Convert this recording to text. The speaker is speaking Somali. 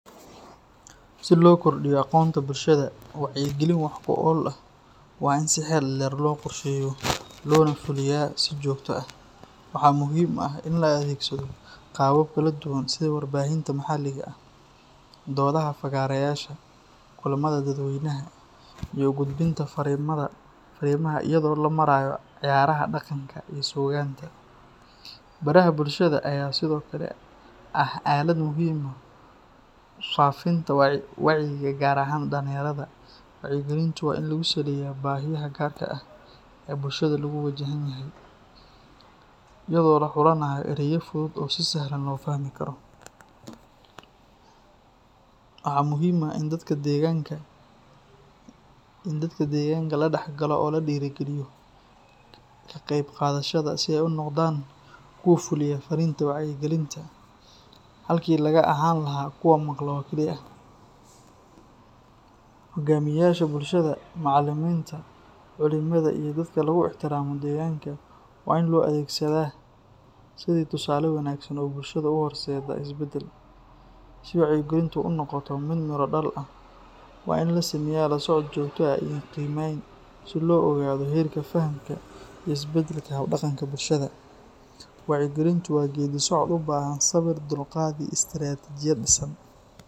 Si loo kordhiyo aqoonta bulshada, wacyigelin wax ku ool ah waa in si xeel dheer loo qorsheeyo loona fuliyaa si joogto ah. Waxaa muhiim ah in la adeegsado qaabab kala duwan sida warbaahinta maxalliga ah, doodaha fagaareyaasha, kulamada dadweynaha, iyo u gudbinta fariimaha iyada oo loo marayo ciyaaraha dhaqanka iyo suugaanta. Baraha bulshada ayaa sidoo kale ah aalad muhiim u ah faafinta wacyigelinta gaar ahaan dhalinyarada. Wacyigelintu waa in lagu saleeyaa baahiyaha gaarka ah ee bulshada lagu wajahan yahay, iyadoo la xulanayo erayo fudud oo si sahlan loo fahmi karo. Waxaa muhiim ah in dadka deegaanka la dhexgalo oo la dhiirrigeliyo ka qaybqaadashada, si ay u noqdaan kuwa fuliya farriinta wacyigelinta, halkii laga ahaan lahaa kuwo maqla oo kali ah. Hogaamiyeyaasha bulshada, macallimiinta, culimada, iyo dadka lagu ixtiraamo deegaanka waa in loo adeegsadaa sidii tusaale wanaagsan oo bulshada u horseeda isbeddel. Si wacyigelintu u noqoto mid miro dhal ah, waa in la sameeyaa la socod joogto ah iyo qiimeyn si loo ogaado heerka fahamka iyo isbeddelka hab-dhaqanka bulshada. Wacyigelintu waa geedi socod u baahan sabir, dulqaad iyo istaraatiijiyad dhisan.